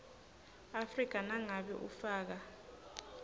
afrika nangabe ufaka